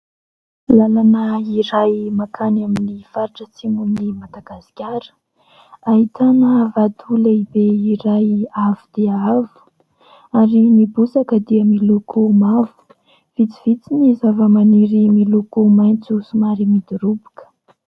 Lalana iray mankany amin'ny faritra atsimon'i Madagasikara. Ahitana vato lehibe iray avo dia avo ary ny bozaka dia miloko mavo. Vitsivitsy ny zava-maniry miloko maitso somary midoroboka.